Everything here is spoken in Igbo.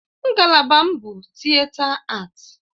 Ngalaba m bụ Tịeta Aati.